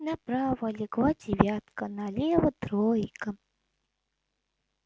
направо легла девятка налево тройка